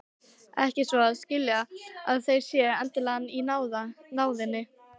Ekki svo að skilja að þeir séu endilega í náðinni.